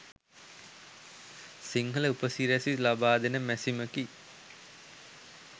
සිංහල උපසිරැසි ලබාදෙන මැසිමකි.